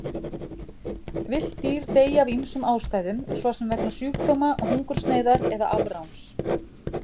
Villt dýr deyja af ýmsum ástæðum, svo sem vegna sjúkdóma, hungursneyðar eða afráns.